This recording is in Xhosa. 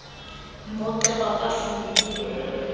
mpoxeko akafuna nokuyibona